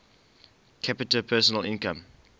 capita personal income